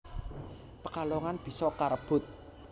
Pekalongan bisa karebut